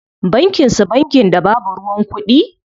Bankin su bankin da babu ruwan kuɗi?